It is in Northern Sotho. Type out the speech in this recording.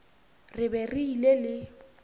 re be re ile le